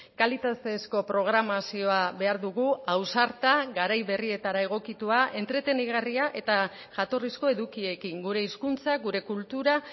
kalitatezko programazioa behar dugu ausarta garai berrietara egokitua entretenigarria eta jatorrizko edukiekin gure hizkuntza gure kultura